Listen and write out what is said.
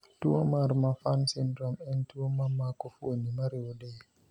tuo mar Marfan syndrome en tuo ma mako fuoni mariwo del